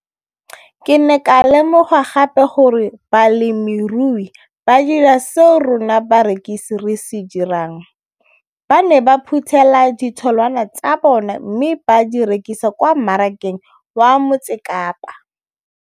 Ke ne ka lemoga gape gore balemirui ba dira seo rona barekisi re se dirang ba ne ba phuthela ditholwana tsa bona mme ba di rekisa kwa marakeng wa Motsekapa.